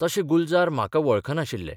तशे गुलजार म्हाका वळखनाशिल्ले.